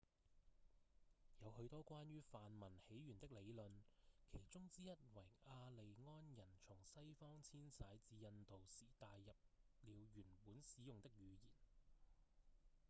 有許多關於梵文起源的理論其中之一為雅利安人從西方遷徙至印度時帶入了原本使用的語言